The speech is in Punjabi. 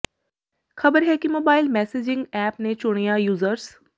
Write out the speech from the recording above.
ਖ਼ਬਰ ਹੈ ਕਿ ਮੋਬਾਈਲ ਮੈਸੇਜ਼ਿੰਗ ਐਪ ਨੇ ਚੁਣਿੰਦਾ ਯੂਜ਼ਰਸ